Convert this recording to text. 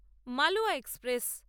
Malwa express